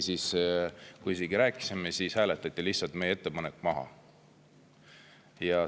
Ja kui isegi rääkisime, siis hääletati meie ettepanek lihtsalt maha.